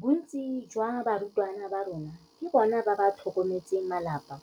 Bontsi jwa barutwana ba rona ke bona ba ba tlhokometseng malapa